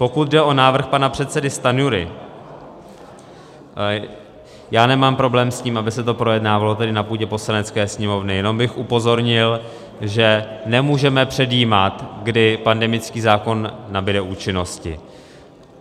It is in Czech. Pokud jde o návrh pana předsedy Stanjury, já nemám problém s tím, aby se to projednávalo tady na půdě Poslanecké sněmovny, jenom bych upozornil, že nemůžeme předjímat, kdy pandemický zákon nabude účinnosti.